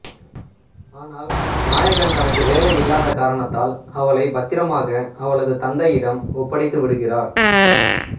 ஆனால் நாயகன் தனக்கு வேலை இல்லாத காரணத்தால் அவளைப் பத்திரமாக அவளது தந்தையிடம் ஒப்படைத்துவிடுகிறார்